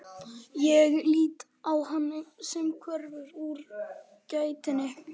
Ég lít á hann sem hverfur úr gættinni.